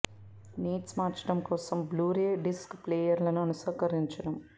needs మార్చడం కోసం blu ray disc ప్లేయర్లను అనుకరించడం